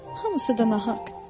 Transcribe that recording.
Hamısı da nahaq.